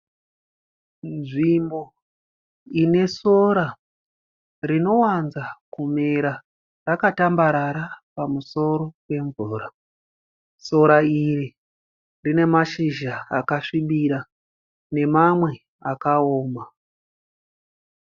Nzvimbo ine sora rinowanza kumera rakatambarara pamusoro pemvura. Sora iri rinemashizha akasvibira nemamwe akaoma